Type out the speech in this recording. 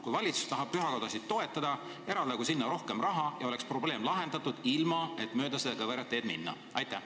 Kui valitsus tahab pühakodasid toetada, eraldagu sinna rohkem raha ja oleks probleem lahendatud ilma mööda kõverat teed minemata.